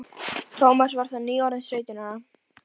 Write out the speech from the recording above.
Thomas var þá nýorðinn sautján ára.